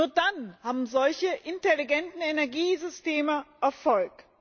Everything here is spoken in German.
Nur dann haben solche intelligenten Energiesysteme Erfolg.